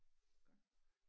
Godt